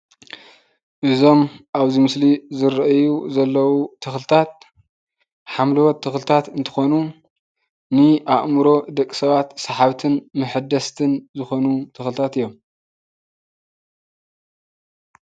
እዞም ኣብዚ ምስሊ ዝረአዩ ዘለዉ ተክልታት ሓምለዎት ተክልታት እንትኮኑ ንኣእምሮ ንደቂ ሰባት ሳሓብትን መሐደስትን ዝኮኑ ተክልታት እዮም፡፡